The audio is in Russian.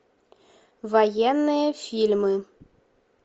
военные фильмы